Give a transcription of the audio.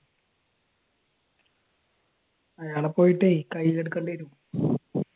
അയാളെ പോയിട്ടേ കയ്യിൽ എടുക്കേണ്ടി വരും